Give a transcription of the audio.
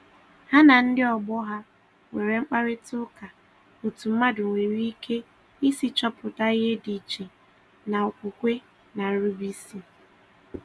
Ha na ndị ọgbọ ha nwere mkparịtaụka otu mmadụ nwere ike isi chọpụta ihe dị iche na okwukwe na nrube isi